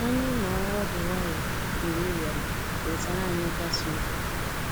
Anyị noọ ọdụ nwayọ mgbe ị bịara, wetara anyị nkasiobi.